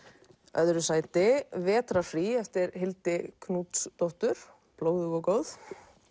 öðru sæti vetrarfrí eftir Hildi Knútsdóttur blóðug og góð